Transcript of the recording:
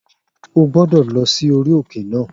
O gbọ́dọ̀ lọ sí orí òkè náà